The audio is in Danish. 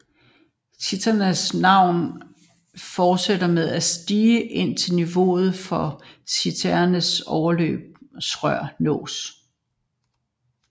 Cisternens vand fortsætter med at stige indtil niveauet for cisternens overløbsrør nås